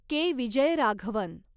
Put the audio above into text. के. Vijayaraghavan